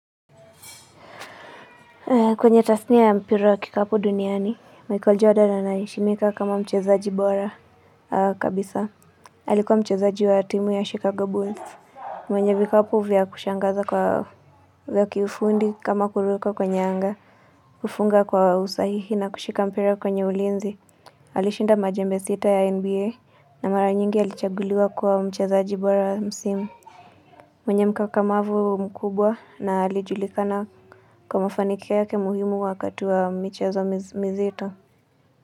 Kwenye tasnia ya mpira wa kikapu duniani, Michael Jordan anaheshimika kama mchezaji bora kabisa. Alikua mchezaji wa timu ya Chicago Bulls. Mwenye vikapu vya kushangaza kwa vya kiufundi kama kuruka kwenye anga, kufunga kwa usahihi na kushika mpira kwenye ulinzi. Alishinda majembe sita ya NBA na mara nyingi alichaguliwa kuwa mchezaji bora msimu. Mwenye mkakamavu mkubwa na alijulikana kwa mafanikio yake muhimu wakati wa michezo mizito,